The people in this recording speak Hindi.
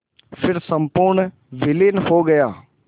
फिर संपूर्ण विलीन हो गया